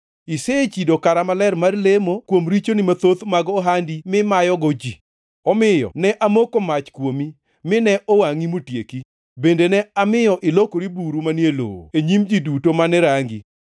Isechido kara maler mar lemo kuom richoni mathoth mag ohandi mimayogo ji. Omiyo ne amoko mach kuomi, mine owangʼi motieki, bende ne amiyo ilokori buru manie lowo e nyim ji duto mane rangi.